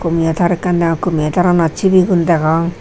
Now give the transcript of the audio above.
kompiutar ekkan deong kompiutaranot sibigun degong.